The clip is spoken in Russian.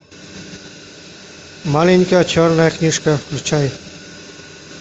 маленькая черная книжка включай